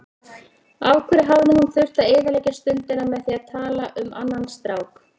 Af hverju hafði hún þurft að eyðileggja stundina með því að tala um annan strák.